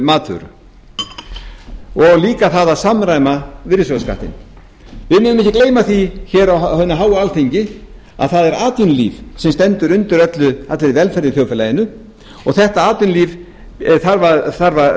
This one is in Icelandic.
matvörum og líka það að samræma virðisaukaskattinn við megum ekki gleyma því hér á hinu háa alþingi að það er atvinnulíf sem stendur undir allri velferð í þjóðfélaginu og þetta atvinnulíf þarf að